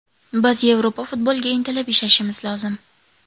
Biz Yevropa futboliga intilib ishlashimiz lozim.